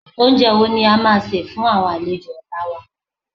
Oúnjẹ wo ni a máa sè fún àwọn àlejò ọ̀la wa?